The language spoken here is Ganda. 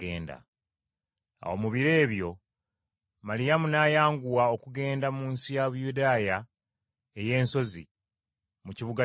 Awo mu biro ebyo, Maliyamu n’ayanguwa okugenda mu nsi ya Buyudaaya ey’ensozi, mu kibuga kyayo.